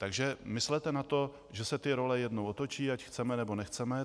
Takže myslete na to, že se ty role jednou otočí, ať chceme, nebo nechceme.